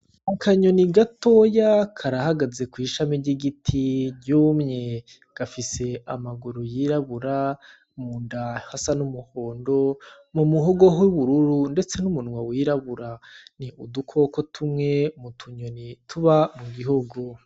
Akanyoni gatoya karahagaze kw'ishami ry'igiti ryumye, gafise amaguru yirabura, mu nda hasa n'umuhondo, mu muhogo ho ubururu, ndetse n'umunwa wirabura, ni udukoko tumwe mu tunyoni tuba mu gihugu.